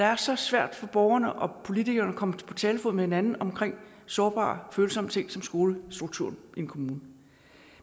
er så svært for borgerne og politikerne at komme på talefod med hinanden om sårbare og følsomme ting som skolestrukturen i en kommune